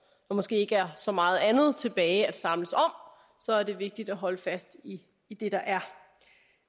måske ikke er så meget andet tilbage at samles om så er det vigtigt at holde fast i det der er